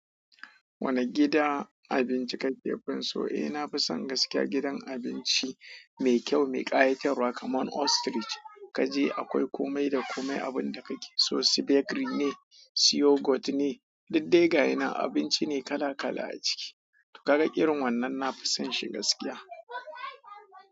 Wane gidan abinci ka ke fin so? Eh, nafi son gaskiya gidan abinci mai kyau, mai ƙayatarwa kamar ostrich. Kaje akwai komai da komai abinda kake so. Su bakery ne, su yogurt ne, duk dai gashinan abinci ne kala kala a ciki. To ka ga irin wannan nafi son shi gaskiya.